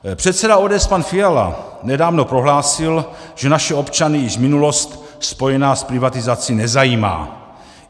Předseda ODS pan Fiala nedávno prohlásil, že naše občany již minulost spojená s privatizací nezajímá.